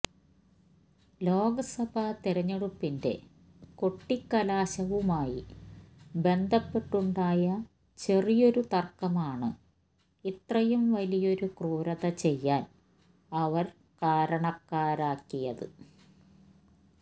ലോക്സഭ തെരഞ്ഞെടുപ്പിന്റെ കൊട്ടിക്കലാശവുമായി ബന്ധപ്പെട്ടുണ്ടായ ചെറിയൊരു തര്ക്കമാണ് ഇത്രയും വലിയൊരു ക്രൂരത ചെയ്യാന് അവര് കാരണാക്കിയത്